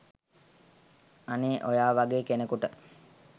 අනේ ඔයා වගේ කෙනෙකුට